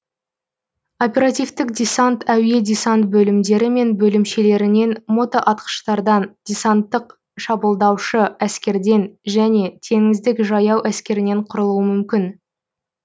оперативтік десант әуе десант бөлімдері мен бөлімшелерінен мотоатқыштардан десанттық шабуылдаушы әскерден және теңіздік жаяу әскерінен құрылуы мүмкін